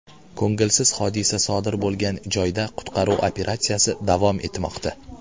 Ko‘ngilsiz hodisa sodir bo‘lgan joyda qutqaruv operatsiyasi davom etmoqda.